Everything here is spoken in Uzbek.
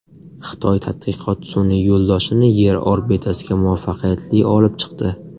Xitoy tadqiqot sun’iy yo‘ldoshini Yer orbitasiga muvaffaqiyatli olib chiqdi.